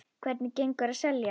Hvernig gengur að selja?